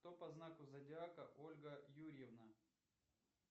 кто по знаку зодиака ольга юрьевна